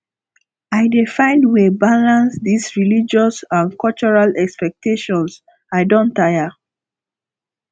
i dey find way balance dese religious and cultural expectations i don tire